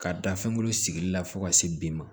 Ka da fɛngolo sigili la fo ka se bin ma